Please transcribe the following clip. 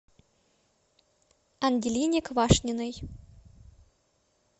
ангелине квашниной